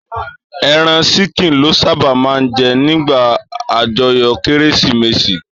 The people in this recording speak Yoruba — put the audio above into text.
Èràn ṣìkín lò sàbá mà n jè nigbá ájòyò kérésimésí